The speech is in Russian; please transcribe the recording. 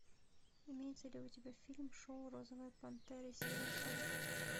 имеется ли у тебя фильм шоу розовая пантера серия сорок